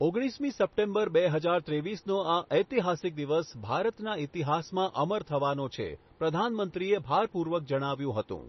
ઓગણીસમી સપ્ટેમ્બર બે હજાર ત્રેવીસનો આ ઐતિહાસિક દિવસ ભારતના ઈતિહાસમાં અમર થવાનો છે, પ્રધાનમંત્રીએ ભારપૂર્વક જણાવ્યું હતું.